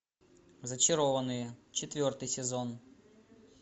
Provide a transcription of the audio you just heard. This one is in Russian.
зачарованные четвертый сезон